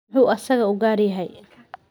Muxuu asagaa u gaar yahay?